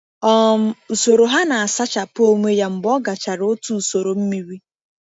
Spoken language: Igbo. um Usoro ha na-asachapụ onwe ya mgbe ọ gachara otu usoro mmiri.